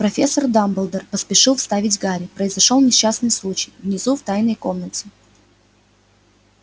профессор дамблдор поспешил вставить гарри произошёл несчастный случай внизу в тайной комнате